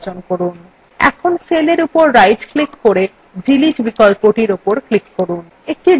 এখন cell উপর right click করে delete বিকল্পর উপর click করুন